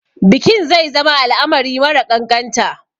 Bikin zai zama al'amari mara ƙanƙanta.